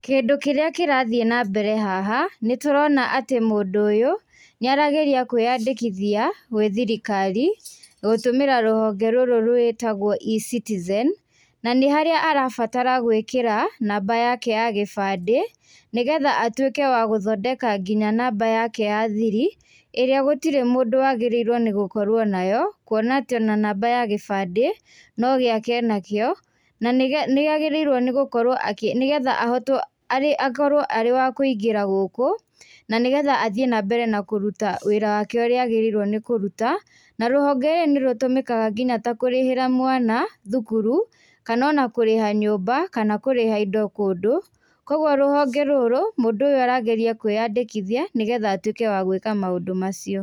Kĩndũ kĩrĩa kĩrathiĩ nambere haha nĩtũrona atĩ mũndũ ũyũ nĩarageria kwĩyandĩkithia gwĩ thirikari gũtũmĩra rũhonge rũrũ rwĩtagwo e-citizen na nĩharĩa arabatara gwĩkĩra namba yake ya gĩbandĩ nĩgetha atuĩke gũthondeka nginya namba yake ya thiri ĩrĩa gũtirĩ mũndũ wagĩrĩirwo nĩgũkorwo nayo kũona atĩ ona namba ya gĩbandĩ no gĩake enakĩo na nĩge nĩagĩrĩirwo nĩgũkorwo akĩ nĩgetha ahotwo a akorwo arĩ wa kũingĩra gũkũ nanĩgetha athiĩ nambere na kũruta wĩra wake ũrĩa agĩrĩirwo nĩkũruta na rũhonge rũrũ nĩrũtũmĩkaga nginya ta kũrĩhĩra mwana thukuru kana ona kũrĩha nyũmba kana kũrĩha indo kũndũ kwoguo rũhonge rũrũ mũndũ ũyũ arageria kwĩyandĩkithia nĩgetha atwĩke wa gwĩka maũndũ macio.